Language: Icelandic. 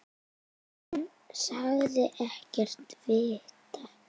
Hann sagðist ekkert vita.